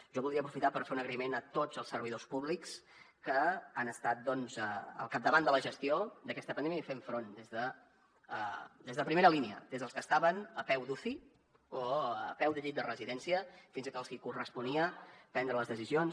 jo voldria aprofitar per fer un agraïment a tots els servidors públics que han estat doncs al capdavant de la gestió d’aquesta pandèmia i fent front des de primera línia des dels que estaven a peu d’uci o a peu de llit de residència fins als qui corresponia prendre les decisions